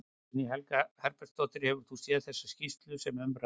Guðný Helga Herbertsdóttir: Hefur þú séð þessa skýrslu sem um ræðir?